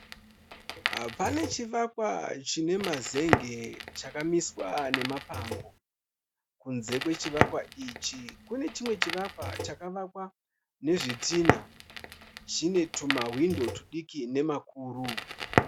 Pane chivakwa chine mazenge chakamiswa nemapango. Kunze kwechivakwa ichi kune chimwe chivakwa chakavakwa nezvitinha zvine tuma hwindo tudiki nemakuru .